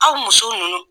Aw muso ninnu